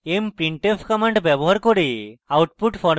mprintf command ব্যবহার করে output format করা